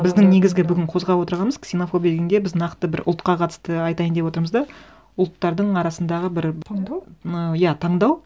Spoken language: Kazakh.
біздің негізгі бүгін қозғап отырғанымыз ксенофобия дегенде біз нақты бір ұлтқа қатысты айтайын деп отырмыз да ұлттардың арасындағы бір таңдау иә таңдау